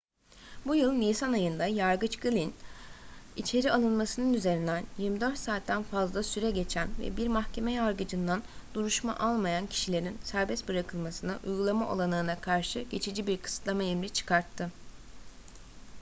bu yıl nisan ayında yargıç glynn içeri alınmasının üzerinden 24 saatten fazla süre geçen ve bir mahkeme yargıcından duruşma almayan kişilerin serbest bırakılmasını uygulama olanağına karşı geçici bir kısıtlama emri çıkarttı